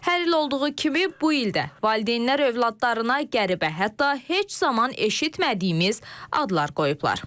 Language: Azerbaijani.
Hər il olduğu kimi bu il də valideynlər övladlarına qəribə, hətta heç zaman eşitmədiyimiz adlar qoyublar.